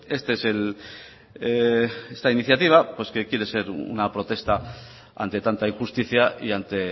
esta es la iniciativa pues que quiere ser una protesta ante tanta injusticia y ante